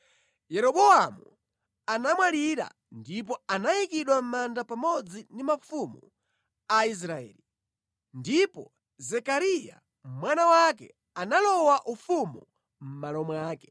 Yeroboamu anamwalira ndipo anayikidwa mʼmanda pamodzi ndi mafumu a Israeli. Ndipo Zekariya mwana wake analowa ufumu mʼmalo mwake.